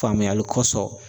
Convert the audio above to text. Faamuyali kɔsɔn